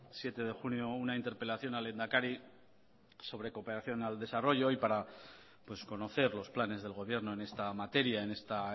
siete de junio una interpelación al lehendakari sobre cooperación al desarrollo y para conocer los planes del gobierno en esta materia en esta